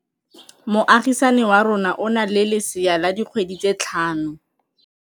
Moagisane wa rona o na le lesea la dikgwedi tse tlhano.